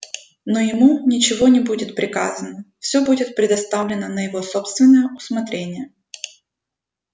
но ему ничего не будет приказано все будет предоставлено на его собственное усмотрение